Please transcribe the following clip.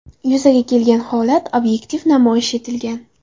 Yuzaga kelgan holat obyektiv namoyish etilgan.